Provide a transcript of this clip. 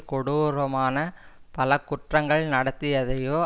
கொடூரமான பல குற்றங்கள் நடத்தியதையோ